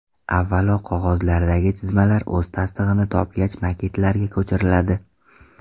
Avvalo qog‘ozlardagi chizmalar o‘z tasdig‘ini topgach maketlarga ko‘chiriladi.